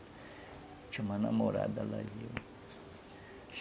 Tinha uma namorada lá.